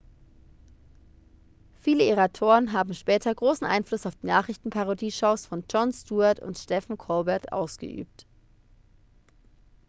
viele ihrer autoren haben später großen einfluss auf die nachrichtenparodie-shows von jon stewart and stephen colbert ausgeübt